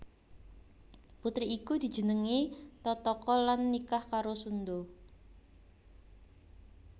Putri iku dijenengi Tataka lan nikah karo Sunda